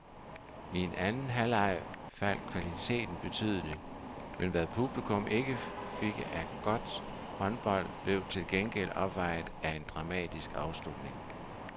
I anden halvleg faldt kvaliteten betydeligt, men hvad publikum ikke fik af godt håndbold, blev til gengæld opvejet af en dramatisk afslutning.